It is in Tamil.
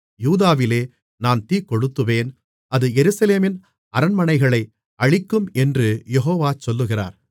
யூதாவிலே நான் தீக்கொளுத்துவேன் அது எருசலேமின் அரண்மனைகளை அழிக்கும் என்று யெகோவா சொல்லுகிறார்